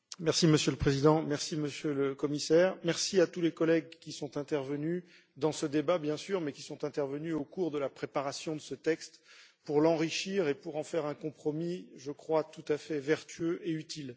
Monsieur le Président, Monsieur le Commissaire, merci à tous les collègues qui sont intervenus dans ce débat, bien sûr, mais aussi à ceux qui sont intervenus au cours de la préparation de ce texte pour l'enrichir et pour en faire un compromis, je crois, tout à fait vertueux et utile.